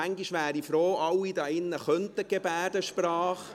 Manchmal wäre ich froh, alle hier drin könnten die Gebärdensprache.